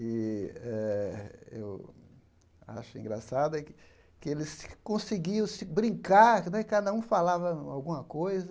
E eh eu acho engraçado é que que eles conseguiam se brincar né, cada um falava alguma coisa,